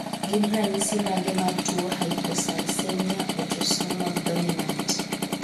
Gin ranyisi mage mar tuo Hypocalcemia, autosomal dominant?